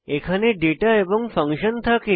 এখানে ডেটা এবং ফাংশন থাকে